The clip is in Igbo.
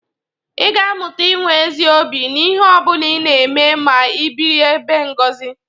Ị ga-amụta inwe ezi obi n'ihi ọ bụla ị na-eme ma ị biri ebe Ngọzị.